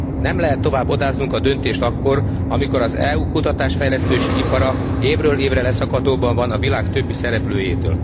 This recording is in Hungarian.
Nem lehet tovább odáznunk a döntést akkor, amikor ez EU kutatásfejlesztési ipara évről évre leszakadóban van a világ többi szereplőjétől.